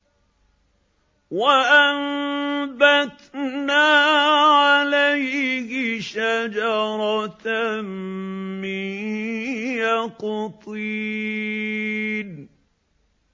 وَأَنبَتْنَا عَلَيْهِ شَجَرَةً مِّن يَقْطِينٍ